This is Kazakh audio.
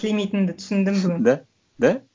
тілемейтінімді түсіндім бүгін да да